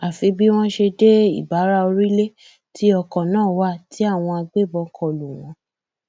àfi bí wọn ṣe dé ìbáraorílẹ tí ọkọ náà wà tí àwọn agbébọn kọ lù wọn